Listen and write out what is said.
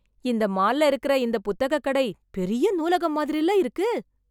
இந்த மால்ல இருக்கற இந்த புத்தக கடை, பெரிய நூலகம் மாதிரில இருக்கு...